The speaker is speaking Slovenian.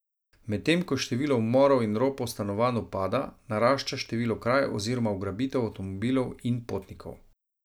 Medtem ko število umorov in ropov stanovanj upada, narašča število kraj oziroma ugrabitev avtomobilov in potnikov.